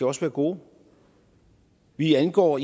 også være gode vi indgår